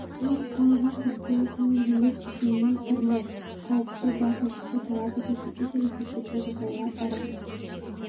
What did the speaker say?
мен қалжың күлкі көңілділік үшін неше түрлі қауіпті батылдықты талап ететін іс-әрекеттер жасауға барамын